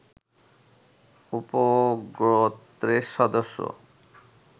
উপগোত্রের সদস্য